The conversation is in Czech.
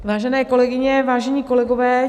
Vážené kolegyní, vážení kolegové.